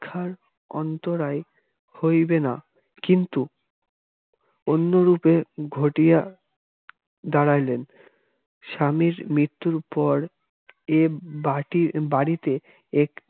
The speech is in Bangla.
শিক্ষার অন্তরায় হইবে না কিন্তু অন্যরূপে ঘটিয়া দাঁড়াইলেন স্বামীর মৃত্যুর পর এ বাটির বাড়িতে এ